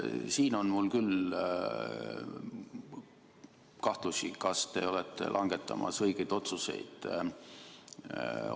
Siin on mul küll kahtlusi, kas te olete langetamas õigeid otsuseid.